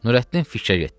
Nurəddin fikrə getdi.